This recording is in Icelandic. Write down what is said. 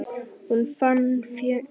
Hún fann hvergi búðina.